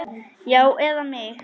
Já, eða mig?